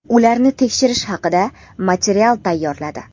ularni tekshirish haqida material tayyorladi.